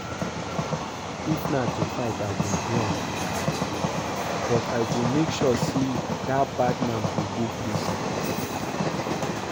If na to fight I go do am, but I go make sure say dat bad man go go prison